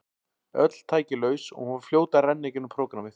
Öll tæki laus og hún var fljót að renna í gegnum prógrammið.